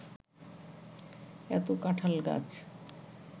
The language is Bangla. এত কাঁঠাল গাছ